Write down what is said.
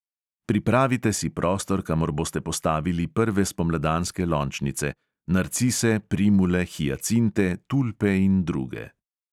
Pripravite si prostor, kamor boste postavili prve spomladanske lončnice: narcise, primule, hijacinte, tulpe in druge.